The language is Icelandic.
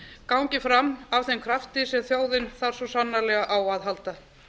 gangi fram af þeim krafti sem þjóðin þarf svo sannarlega á að halda